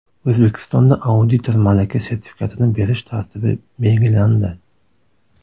O‘zbekistonda auditor malaka sertifikatini berish tartibi belgilandi.